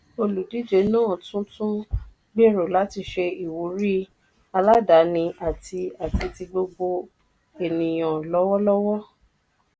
olùdíje náà tún tún gbèrò láti ṣe ìwúrí aládàáni àti àti ti gbogbo ènìyàn lọ́wọ́lọ́wọ́.